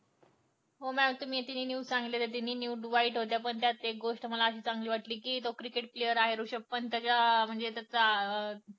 हो mam तुम्ही या तिन्ही news सांगितल्या त्या तिन्ही वाईट होत्या त्यात एक गोष्ट मला चांगली वाटली कि जो cricket player आहे वृषभ पंत म्हणजे कि त्याचा